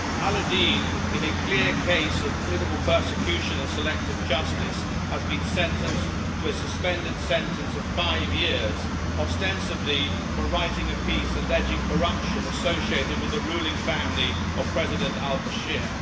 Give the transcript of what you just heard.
Al Abidine, in a clear case of political persecution and selective justice, has been sentenced to a suspended sentence of five years, ostensibly for writing a piece alleging corruption associated with the ruling family of President Omar al Bashir.